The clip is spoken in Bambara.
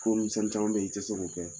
Ko nimisɛnni caman bɛ ye i tɛ se k'o kɛ